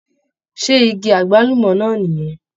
Ṣé igi agbalumọ náà nì yẹn?